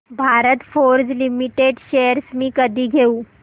Bharat Forge Limited shares मी कधी घेऊ